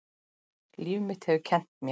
Líf mitt hefur kennt mér.